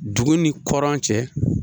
Dugu ni kɔrɔn cɛ